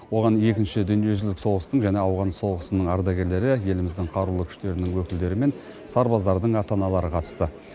оған екінші дүниежүзілік соғыстың және ауған соғысының ардагерлері еліміздің қарулы күштерінің өкілдері мен сарбаздардың ата аналары қатысты